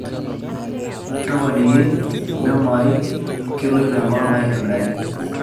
toponiki memo ajo keloito enkolong aai aitobiraki